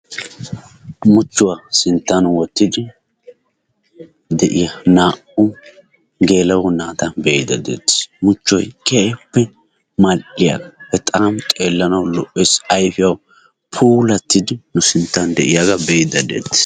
Muchchuwa sinttan wottidi de"iya naa"u geela"o naata be"iiddi deettes muchchoy keehippe mal"iyaaga bexaam xeellanawu lo"es. Ayifiyawu puulattidi nu sinttan de'iyaaga be'iiddi deettes.